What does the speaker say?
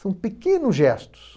São pequenos gestos.